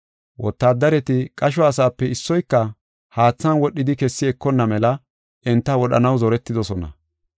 Wotaaddareti qasho asaape issoyka haatha wadhidi kessi ekonna mela enta wodhanaw zoretidosona.